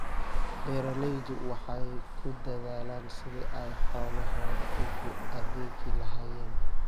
Beeraleydu waxay ku dadaalaan sidii ay xoolahooda ugu adeegi lahaayeen.